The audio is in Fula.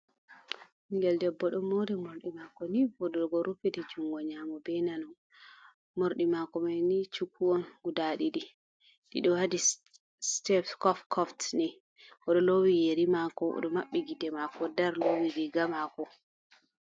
Ɓingel debbo ɗon Mori morɗi mako ni voɗugo. odulgo rufiti jungo nyamo be nano. morɗi mako manni Shuku’on guda ɗiɗi.ɗi ɗo waɗi Sitef Kof Kof ni oɗo lowi Yeri mako. oɗo mabɓi gite Mako dar lowi riga Mako.